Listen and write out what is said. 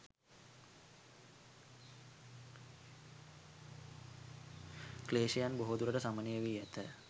ක්ලේශයන් බොහෝ දුරට සමනය වී ඇත.